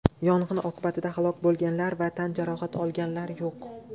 Yong‘in oqibatida halok bo‘lganlar va tan jarohati olganlar yo‘q.